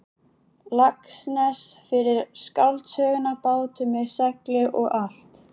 Laxness fyrir skáldsöguna Bátur með segli og allt.